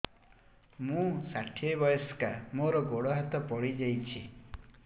ମୁଁ ଷାଠିଏ ବୟସ୍କା ମୋର ଗୋଡ ହାତ ପଡିଯାଇଛି